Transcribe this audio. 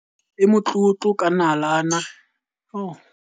e motlotlo ka nalane.